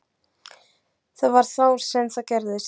Það var þá sem það gerðist.